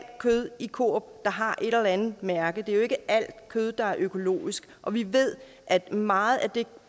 kød i coop der har et eller andet mærke det er jo ikke alt kød der er økologisk og vi ved at meget af det